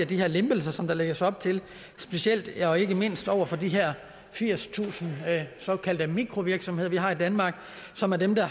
de her lempelser som der lægges op til specielt og ikke mindst over for de her firstusind såkaldte mikrovirksomheder vi har i danmark og som er dem der